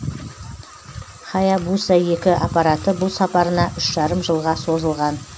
хаябуса екі аппараты бұл сапарына үш жарым жылға созылған